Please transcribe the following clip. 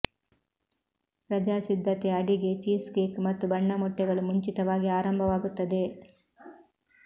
ರಜಾ ಸಿದ್ಧತೆ ಅಡಿಗೆ ಚೀಸ್ ಕೇಕ್ ಮತ್ತು ಬಣ್ಣ ಮೊಟ್ಟೆಗಳು ಮುಂಚಿತವಾಗಿ ಆರಂಭವಾಗುತ್ತದೆ